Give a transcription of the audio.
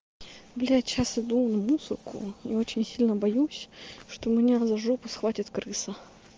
блять сейчас иду на мусорку я очень сильно боюсь что меня за жопу схватит крыса